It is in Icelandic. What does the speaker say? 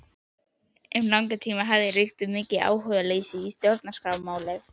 Um langan tíma hafði ríkt mikið áhugaleysi um Stjórnarskrármálið.